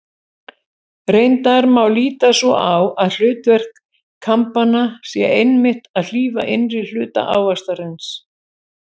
Reyndar má líta svo á að hlutverk kambanna sé einmitt að hlífa innri hluta ávaxtarins.